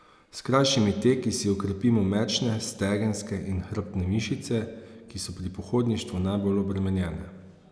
S krajšimi teki si okrepimo mečne, stegenske in hrbtne mišice, ki so pri pohodništvu najbolj obremenjene.